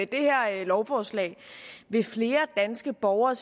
det her lovforslag vil flere danske borgere